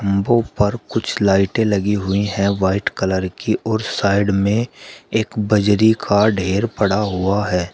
वो ऊपर कुछ लाइटें लगी हुई है वाइट कलर की और साइड में एक बजरी का ढ़ेर पड़ा हुआ है।